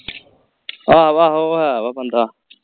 ਆਹੋ ਆਹੋ ਉਹ ਹੈ ਵਾ ਬੰਦਾ